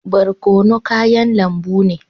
Barkono kayan lambu ne.